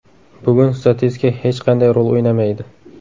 Bugun statistika hech qanday rol o‘ynamaydi.